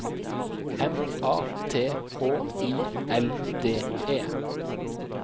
M A T H I L D E